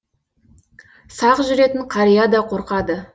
сақ жүретін қария да қорқады